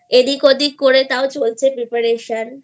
এদিকওদিক করে তাও চলছে Preparation